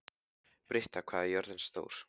Britta, hvað er jörðin stór?